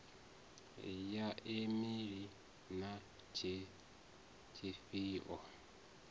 ya e meili na tshifhio